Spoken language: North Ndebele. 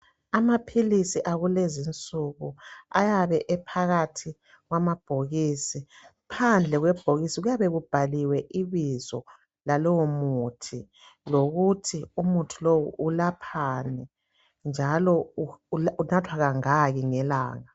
Amaphilisi akulezinsuku ayabe ephakathi kwamabhokisi. Phandle kwebhokisi kuyabe kubhaliwe ibizo lalomuthi lokuthi umuthi lo ulaphani, njalo ulapha kangaki ngelanga.